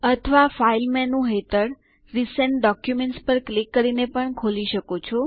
અથવા file menu હેઠળ recent documents પર ક્લિક કરીને ખોલી શકો છો